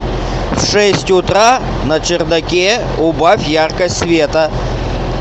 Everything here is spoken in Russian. в шесть утра на чердаке убавь яркость света